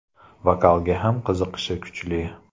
Vokalga ham qiziqishi kuchli.